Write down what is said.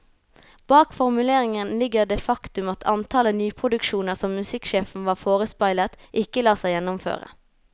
Bak formuleringen ligger det faktum at antallet nyproduksjoner som musikksjefen var forespeilet, ikke lar seg gjennomføre.